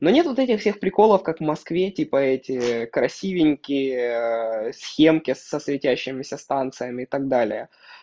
но нет вот этих всех приколов как в москве типа эти красивенькие схемки со светящимися станциями и так далее